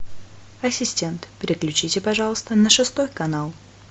ассистент переключите пожалуйста на шестой канал